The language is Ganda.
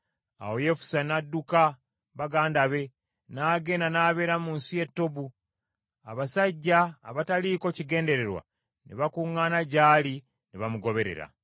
Awo Yefusa n’adduka baganda be, n’agenda n’abeera mu nsi ye Tobu. Abasajja abataaliko kigendererwa ne bakuŋŋaana gy’ali ne bamugoberera.